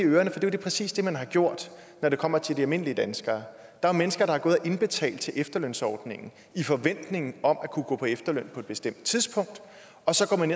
i ørerne for det er jo præcis det man har gjort når det kommer til de almindelige danskere der er mennesker der har gået og indbetalt til efterlønsordningen i forventning om at kunne gå på efterløn på et bestemt tidspunkt og så går man